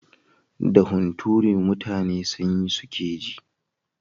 Da hunturu mutane sanyi suke ji.